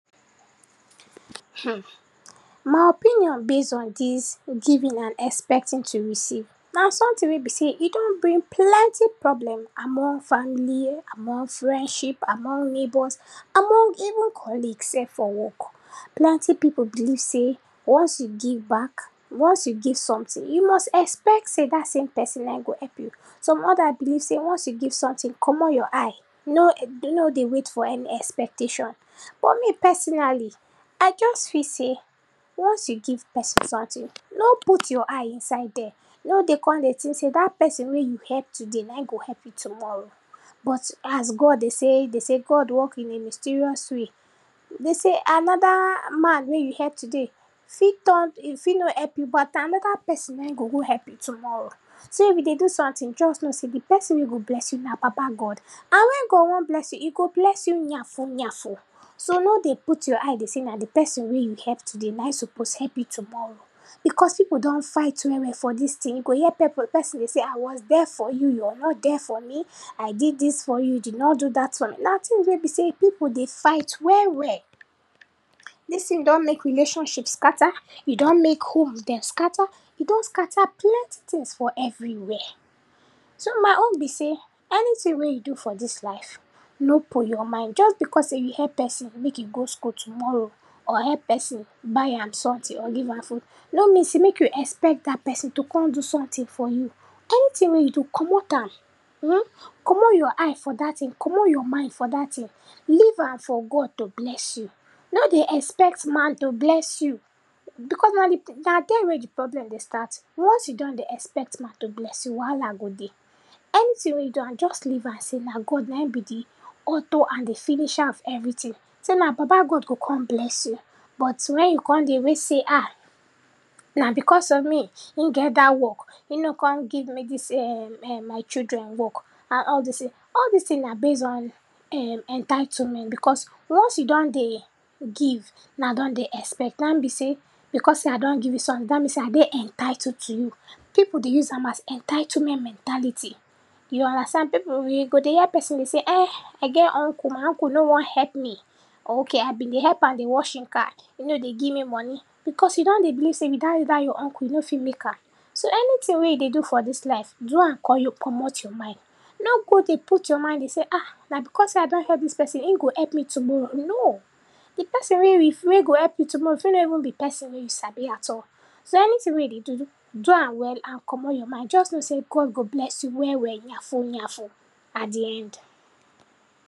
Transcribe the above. Um my opinion base on dis giving and expecting to receive, na something wey be sey e don bring plenty problem among family, among friendship, among neighbours, among even colleague sef for work. Plenty pipu believe sey once you give back, once you give something, you must expect sey dat same pesin na im go help you. Some other believe sey once you give something, komot your eye, no no dey wait for any expectation. But me personally, I just feel sey once you give pesin something, no put your eye inside dia. No dey come dey think sey dat pesin wey you help today na im go help you tomorrow. But as God, dey sey dey sey God work in a mysterious way, dey sey another um man wey you help today fit turn, im fit no help you, but na another pesin na im go go help you tomorrow. So if you dey do something just know sey de pesin wey go bless you na God, and when God wan bless you, e go bless you yanfu yanfu. So no dey put your eye dey sey na de pesin wey you help today na im suppose help you tomorrow, because pipu don fight well well for dis thing. You go hear pipu pesin say “I was there for you, you were not there for me”, “I did this for you, you did not do that for me”.Na thing wey be sey pipu dey fight well well. Dis thing don make relationship scatter, e don make homes dem scatter, e don scatter plenty things for every wia. So my own be sey anything wey you do for dis life no put your mind. Just because sey you help person make e go school tomorrow, or help pesin buy am something, or give am food, no mean sey make you expect that pesin to come do something for you. Anything wey you do, komot am um komot your eye for dat thing, komot your mind for dat thing. Leave am for God to bless you. No dey expect man to bless you, because na de, na dia wia de problem dey start. Once you don dey expect man to bless you, wahala go dey. Anything wey you do am, just leave am sey na God na im be dey author and dey finisher of everything. Sey na papa God go come bless you. But when you come dey wait sey um na because of me im get dat work, im no come give me dis um um my children work, and all dis thing. All dis thing na base on um entitlement because once you don dey give now don dey expect. Na im be sey because sey I don give you sommething, dat mean sey I dey entitled to you. Pipu dey use am as entitlement mentality. You understand? Pipu you go dey hear pesin dey say um I get uncle, my uncle no wan help me, or okay I been dey help am dey wash im car, im no dey give me moni, because you done dey believe sey without dat your uncle you no fit make am. So anything wey you dey do for dis life, do am komot your mind. No go dey put your mind dey sey ah na because sey I don help dis pesin, im go help me tomorrow. No. de pesin we go help you tomorrow fit no even be pesin wey you sabi at all. So anything wey you dey do, do am well and komot your mind. Just know sey God go bless you well well yanfu yanfu at de end.